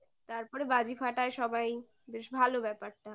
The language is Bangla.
তারপরে বাজি ফাটায় সবাই বেশ ভালো ব্যাপারটা